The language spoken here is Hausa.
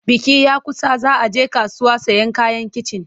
Biki ya kusa za a je kasuwa sayen kayan kicin.